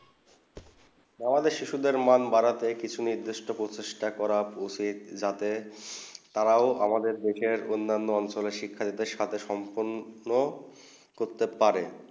আমাদের শিশু মন বাঁধতে কিছু নির্দিষ্ট পরিচেস্ট করা পোষে যাতে তারাও আমাদের শেখে অন্য অঞ্চলে শিক্ষা দিতে সাবাথে সম্পন্ন হতে পারে